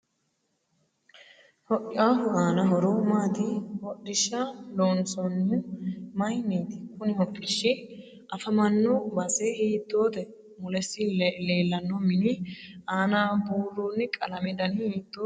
Hodhiahu aano horo maati hodhisha loonsanihu mayiiniti kuni hodhishi afamanno base hiitoote mulesi leelanno mini aana buurooni qalamete dani hiitooho